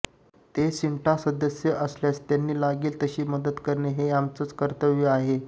ते सिंटा सदस्य असल्यास त्यांना लागेल तशी मदत करणं हे आमचंच कर्तव्य आहे